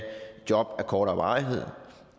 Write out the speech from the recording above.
job af kortere varighed